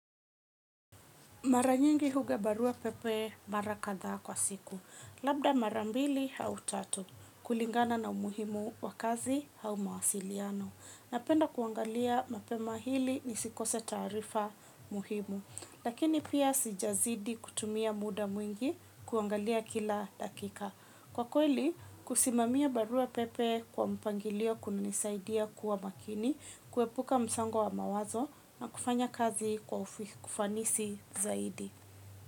Mara nyingi huga baruapepe mara kadha kwa siku. Labda mara mbili au tatu. Kulingana na umuhimu wa kazi hau mawasiliano. Napenda kuangalia mapema hili nisikose taarifa muhimu. Lakini pia sijazidi kutumia muda mwingi kuangalia kila dakika. Kwa kweli, kusimamia baruapepe kwa mpangilio kunanisaidia kuwa makini, kuepuka msongo wa mawazo na kufanya kazi kwa ufanisi zaidi.